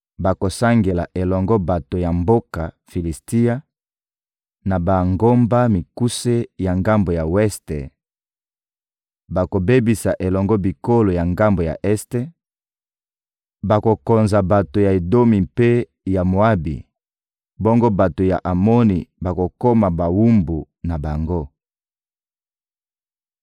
Bakosangela elongo bato ya mboka Filisitia na bangomba mikuse ya ngambo ya weste; bakobebisa elongo bikolo ya ngambo ya este, bakokonza bato ya Edomi mpe ya Moabi, bongo bato ya Amoni bakokoma bawumbu na bango.